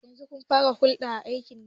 Yanzu mulkin farar hula akeyi a najeriya